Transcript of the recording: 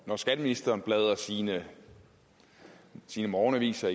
når skatteministeren bladrer sine sine morgenaviser